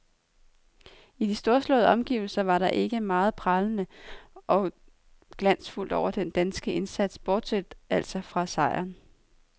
I de storslåede omgivelser var der ikke meget prangende og glansfuldt over den danske indsats, bortset altså fra sejren.